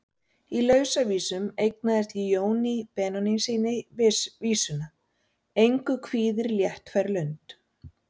Í Lausavísum eignaði ég Jóni Benónýssyni vísuna: Engu kvíðir léttfær lund.